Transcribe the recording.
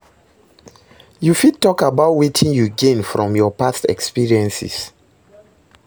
You fit talk about wetin you gain from your past experiences?